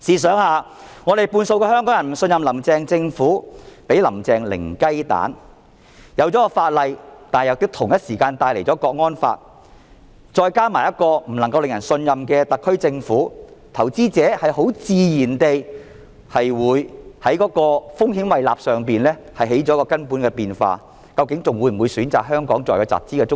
雖然訂立了相關法例，但同時間又引入了《港區國安法》，再加上一個不能夠令人信任的特區政府，投資者很自然地會在風險胃納方面起了根本的變化，究竟還會否選擇香港作為集團中心？